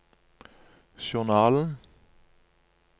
journalen